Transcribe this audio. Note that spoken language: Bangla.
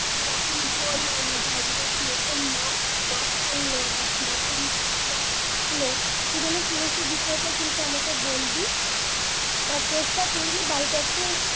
কে রকম তোর হম জায়গাটার কিরকম মাপ মাপ করল বা কি রকম নকশা আঁকলো তুই যেন সমস্ত বিষয়টাই কিন্তু আমাকে বলবি আর চেষ্টা করবি বাড়িতে একটু